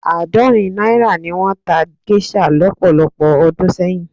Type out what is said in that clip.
Àádọ́rin náírà ni wọ́n ta géṣà lọ́pọ̀lọpọ̀ ọdún sẹ́yìn.